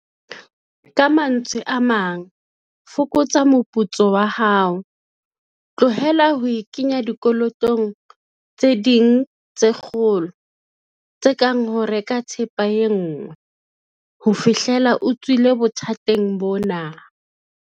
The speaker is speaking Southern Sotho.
Ka mantswe a mang, fokotsa moputso wa hao. Tlohela ho ikenya dikolotong tse ding tse kgolo, tse kang ho reka thepa e nngwe, ho fihlela o tswile bothateng bona.